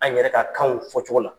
An yɛrɛ ka kanw fɔ cogo la.